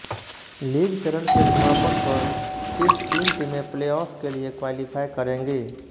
league चरण के समापन पर शीर्ष तीन टीमें प्लेऑफ के लिए क्वालीफाई करेंगी